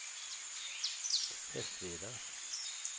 Hästveda